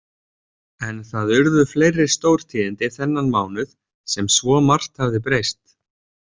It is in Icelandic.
En það urðu fleiri stórtíðindi þennan mánuð sem svo margt hafði breyst.